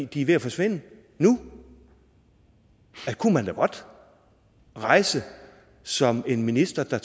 de er ved at forsvinde nu det kunne man da godt rejse som minister tage